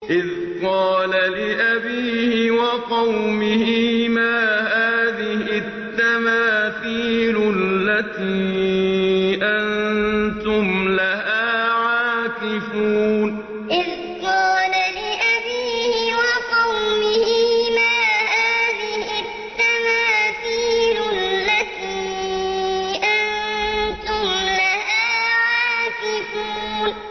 إِذْ قَالَ لِأَبِيهِ وَقَوْمِهِ مَا هَٰذِهِ التَّمَاثِيلُ الَّتِي أَنتُمْ لَهَا عَاكِفُونَ إِذْ قَالَ لِأَبِيهِ وَقَوْمِهِ مَا هَٰذِهِ التَّمَاثِيلُ الَّتِي أَنتُمْ لَهَا عَاكِفُونَ